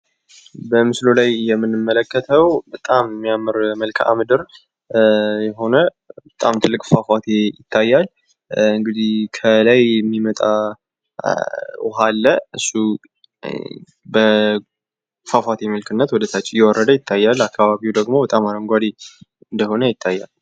በምስሉ ላይ የምንመለከተው በጣም የሚያምር መልከአምድር የሆነ ጣም ትልቅ ፏፏቴ ይታያል። እንግዲህ ከላይ የሚመጣ ውሀ አለ። እሱ በፏፏቴ መልክነት ወደታች እየወረደ ይታያል። አካባቢው ደሞ በጣም አረጓዴ እንደሆነ ይታያል።